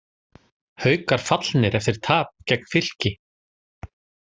Haukar fallnir eftir tap gegn Fylki